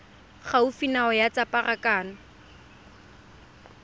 gaufi nao ya tsa pharakano